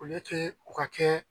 u ka kɛ